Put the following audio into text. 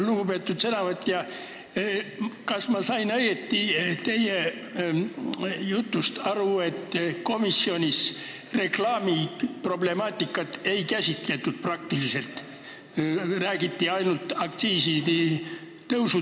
Lugupeetud sõnavõtja, ma sain teie jutust aru, et komisjonis reklaami problemaatikat ei käsitletud, räägiti ainult aktsiisi tõstmisest ja langetamisest.